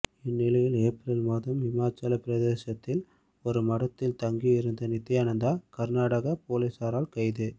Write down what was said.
இந்நிலையில் ஏப்ரல் மாதம் இமாச்சல பிரதேசத்தில் ஒரு மடத்தில் தங்கி இருந்த நித்தியானந்தா கர்நாடக போலீசாரால் கைது